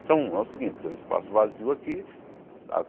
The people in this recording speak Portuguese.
Então é o seguinte, tem um espaço vazio aqui.